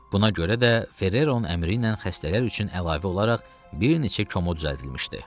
Buna görə də Ferreroun əmri ilə xəstələr üçün əlavə olaraq bir neçə komo düzəldilmişdi.